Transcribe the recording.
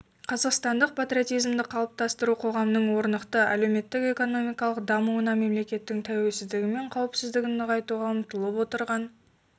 қазақстандық патриотизмді қалыптастыру қоғамның орнықты әлеуметтік-экономикалық дамуына мемлекеттің тәуелсіздігі мен қауіпсіздігін нығайтуға ұмтылып отырған